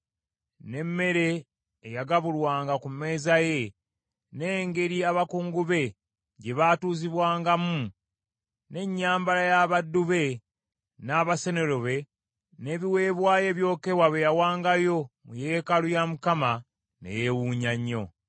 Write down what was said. n’emmere eyagabulwanga ku mmeeza ye, n’engeri abakungu be gye baatuuzibwangamu, n’ennyambala y’abaddu be, n’abasenero be, n’ebiweebwayo ebyokebwa bye yawangayo mu yeekaalu ya Mukama , ne yeewunya nnyo.